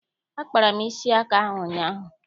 Akpara m isi aka ahụ ụnyaahụ.